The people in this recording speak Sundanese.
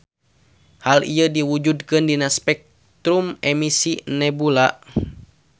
Hal ieu diwujudkeun dina spektrum emisi nebula.